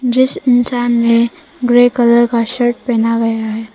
इस इंसान ने ग्रे कलर का शर्ट पहना गया है।